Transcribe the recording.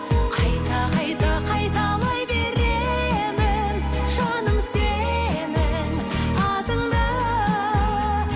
қайта қайта қайталай беремін жаным сенің атыңды